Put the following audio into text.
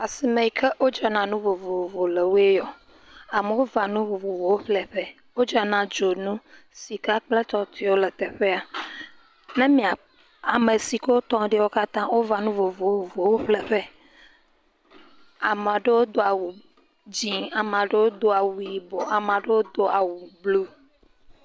Asime yike wodzra na nu vovovo le woe ya. Amewo va nu vovovowo ƒle ƒe. Wodzra na dzonu, sika kple etɔtɔewo le teƒe ya eye ame siwo tɔ ɖe lã va ŋu vovovowo ƒle ƒe. Ame aɖewo do awu dzɛ, ame aɖewo do awu yibɔ, ame aɖewo do awu blu.